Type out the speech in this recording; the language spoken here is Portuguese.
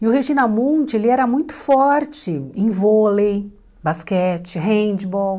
E o Regina Mundt era muito forte em vôlei, basquete, handball.